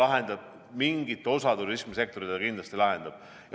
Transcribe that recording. Aga mingit osa turismisektoris see kindlasti lahendab.